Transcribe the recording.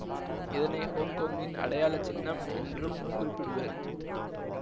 இதனை ஹொங்கொங்கின் அடையாள சின்னம் என்றும் குறிப்பிடுவர்